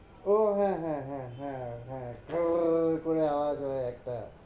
ও হ্যাঁ হ্যাঁ হ্যাঁ হ্যাঁ হ্যাঁ ভরর করে আওয়াজ হয় একটা